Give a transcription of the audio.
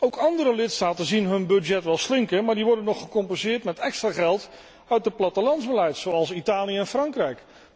Ook andere lidstaten zien hun budget wel slinken, maar die worden nog gecompenseerd met extra geld uit het plattelandsbeleid, zoals Italië en Frankrijk.